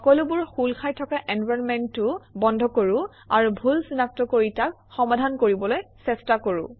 সকলোবোৰ খোল খাই থকা এনবাইৰনমেণ্টো বন্ধ কৰোঁ আৰু ভুল চিনাক্ত কৰি তাক সমাধান কৰিবলৈ চেষ্টা কৰোঁ